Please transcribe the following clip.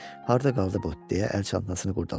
Harda qaldı bu, deyə əl çantasını qurdaladı.